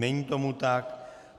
Není tomu tak.